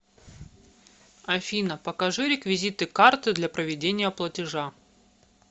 афина покажи реквизиты карты для проведения платежа